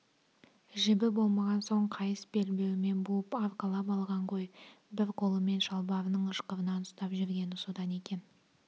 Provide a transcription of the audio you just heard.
жібі болмаған соң қайыс белбеуімен буып арқалап алған ғой бір қолымен шалбарының ышқырынан ұстап жүргені содан екен